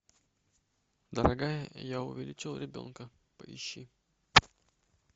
дорогая я увеличил ребенка поищи